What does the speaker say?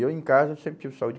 E eu em casa sempre tive saúde.